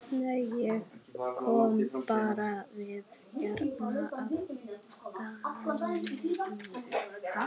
Nei, ég kom bara við hérna að gamni mínu.